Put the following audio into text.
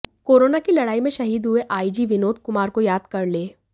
corona की लड़ाई में शहीद हुए आईजी विनोद कुमार को याद कर लें